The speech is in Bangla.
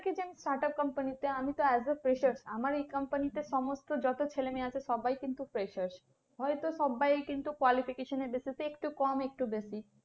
start up company তে আমি তো as a fresher আমার এই company তে সমস্ত যত ছেলে মেয়ে আছে সবাই কিন্তু freshers হয়তো সবাই কিন্তু qualification basis এ একটু কম একটু বেশি।